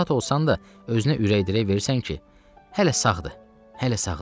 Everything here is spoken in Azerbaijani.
Narahat olsan da özünə ürək-dirək verirsən ki, hələ sağdır, hələ sağdır.